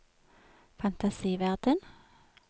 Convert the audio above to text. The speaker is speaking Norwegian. fantasiverden